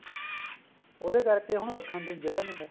ਉਹਦੇ ਕਰਕੇ ਉਹਨੂੰ ਰੱਖਣ ਦੀ ਜਗ੍ਹਾ ਨਹੀਂ ਹੈ